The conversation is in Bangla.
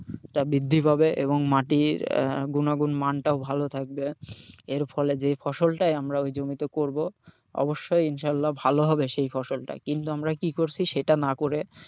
টা বৃদ্ধি পাবে এবং মাটির আহ গুনাগুন মানটাও ভালো থাকবে, এরফলে যে ফসলটা আমরা ওই জমিতে করবো অবশ্যই ইনশাল্লাহ ভালো হবে সেই ফসলটা। কিন্তু আমরা কি করছি সেটা না করে,